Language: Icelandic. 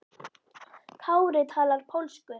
Kári talar pólsku.